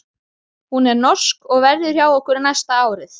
Hún er norsk og verður hjá okkur næsta árið.